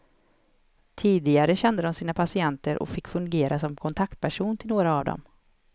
Tidigare kände de sina patienter och fick fungera som kontaktperson till några av dem.